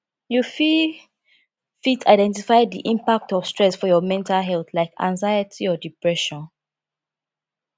you fit fit identify di impact of stress for your mental health like anxiety or depression